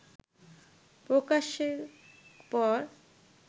প্রকাশের পর